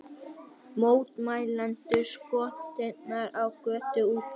Mótmælendur skotnir á götum úti